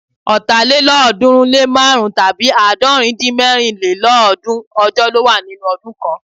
Ọ̀tàlélọ́ọ̀dúnrúnlémárùn-rún tàbí àádọ́rindínmẹ́rinlélọ́ọ̀dúún ọjọ́ ló wà nínú ọdún kan